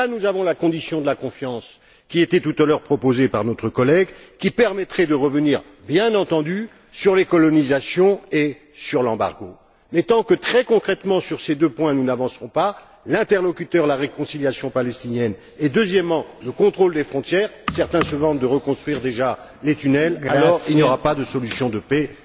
Là, nous avons la condition de la confiance, qui était tout à l'heure proposée par notre collègue, qui permettrait de revenir bien entendu sur les colonisations et sur l'embargo. Mais tant que, nous n'avancerons pas, très concrètement, sur ces deux points, à savoir l'interlocuteur dans la réconciliation palestinienne et le contrôle des frontières certains se vantent de reconstruire déjà les tunnels il n'y aura pas de solution de paix.